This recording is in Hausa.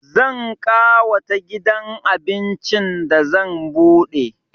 Zan ƙawata gidan abincin da zan buɗe